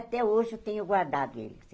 Até hoje eu tenho guardado ele.